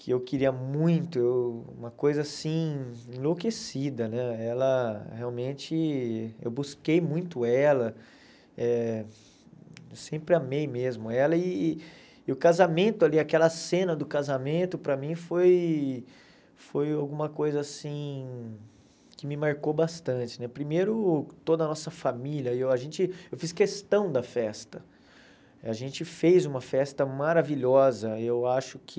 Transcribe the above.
que eu queria muito, eu uma coisa assim, enlouquecida né, ela realmente, eu busquei muito ela, eh sempre amei mesmo ela, e e o casamento ali, aquela cena do casamento, para mim foi foi alguma coisa assim, que me marcou bastante, né primeiro toda a nossa família, aí a gente eu fiz questão da festa, a gente fez uma festa maravilhosa, eu acho que